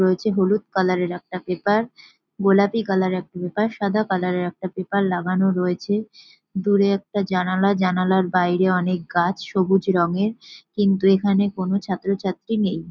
রয়েছে হলুদ কালার -এর একটা পেপার গোলাপী কালার -এর একটা পেপার সাদা কালার - এর একটা পেপার লাগানো রয়েছে দূরে একটা জানালা জানালার বাইরে অনেক গাছ সবুজ রঙের কিন্তু এখানে কোন ছাত্র ছাত্রী নেই ।